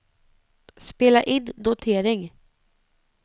spela in notering